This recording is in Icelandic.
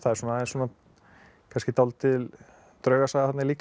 kannski dálítil draugasaga þarna líka